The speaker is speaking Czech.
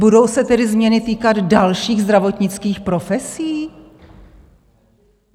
Budou se tedy změny týkat dalších zdravotnických profesí?